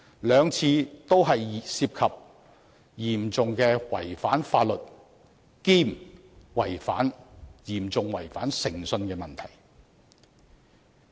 兩次彈劾都涉及嚴重違反法律及嚴重違反誠信的問題。